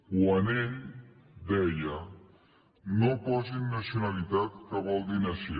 quan ell deia no posin nacionalitat que vol dir nació